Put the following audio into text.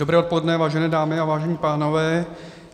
Dobré odpoledne, vážené dámy a vážení pánové.